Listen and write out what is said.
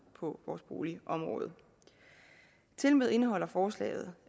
på boligområdet tilmed indeholder forslaget